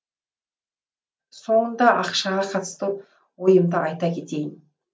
соңында ақшаға қатысты ойымды айта кетейін